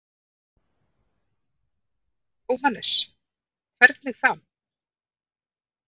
Jóhannes: Hvernig þá?